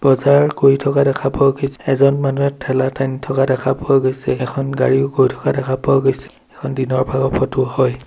বজাৰ কৰি থকা দেখা পোৱা গৈছ-- এজন মানুহে ঠেলা টানি থকা দেখা পোৱা গৈছে এখন গাড়ীও গৈ থকা দেখা পোৱা গৈছে এইখন দিনৰ ভাগৰ ফটো হয়।